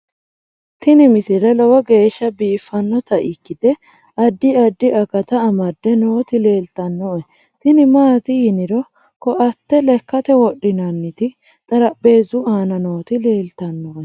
tini misile lowo geeshsha biiffannota ikkite addi addi akata amadde nooti leeltannoe tini maati yiniro koate lekkate wodhinanniti xarapheezu aana nooti leltannoe